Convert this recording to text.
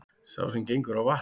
Sá sem gengur á vatni,